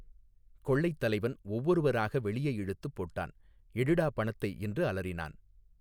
கொள்ளைத் தலைவன் ஒவ்வொருவராக வெளியே இழுத்துப் போட்டான் எடுடா பணத்தை என்று அலறினான்.